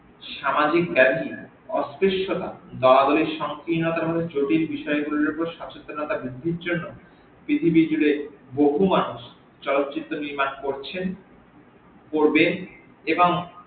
সামাজিক ব্যাতি জটিল বিষয় গুলির ওপর সচেতনতা বৃদ্ধির জন্য পৃথিবী জুরে বহু মানুষ চলচিত্র নির্মাণ করছেন করবেন এবং